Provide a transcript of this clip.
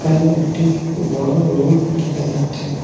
এখানে একটি বড় রুম দেখা যাচ্ছে।